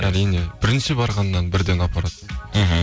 әрине бірінші барғаннан бірден апарады мхм